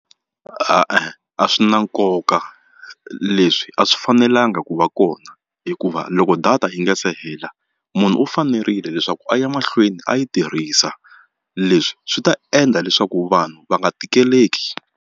A swi na nkoka leswi a swi fanelanga ku va kona hikuva loko data yi nga se hela munhu u fanerile leswaku a ya mahlweni a yi tirhisa leswi swi ta endla leswaku vanhu va nga tikiseleki.